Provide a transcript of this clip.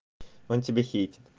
он тебя хэйтит